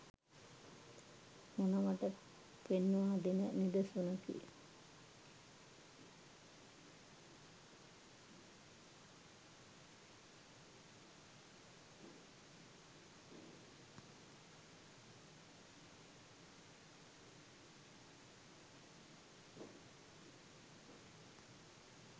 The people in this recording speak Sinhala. මොනවට පෙන්වා දෙන නිදසුනකි.